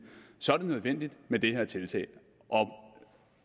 så er det nødvendigt med det her tiltag og